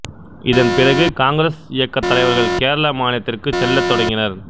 இதன் பிறகு காங்கிரசு இயக்கத் தலைவர்கள் கேரள மாநிலத்திற்குச் செல்லத் தொடங்கினர்